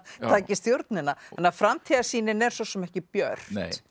taki stjórnina þannig að framtíðarsýnin er svo sem ekki björt